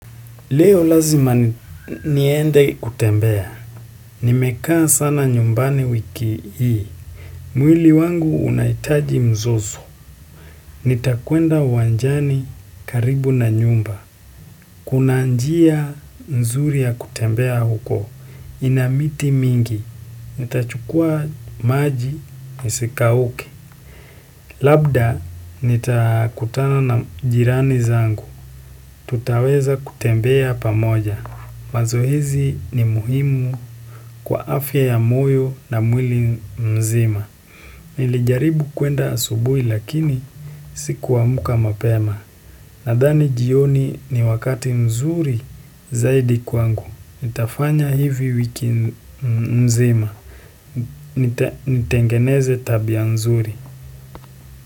Leo lazima niende kutembea, nimekaa sana nyumbani wiki hii, mwili wangu unahitaji mzozo, nitakwenda uwanjani karibu na nyumba, kuna njia nzuri ya kutembea huko, ina miti mingi, nitachukua maji nisikauke, labda nitakutana na jirani zangu, tutaweza kutembea pamoja Mazoezii ni muhimu kwa afya ya moyo na mwili mzima. Nilijaribu kuenda asubuhi lakini sikuamka mapema. Nadhani jioni ni wakati mzuri zaidi kwangu. Nitafanya hivi wiki mzima. Nitengeneze tabia mzuri.